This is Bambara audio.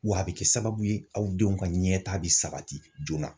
W'a be kɛ sababu ye aw denw ka ɲɛta be sabati joona.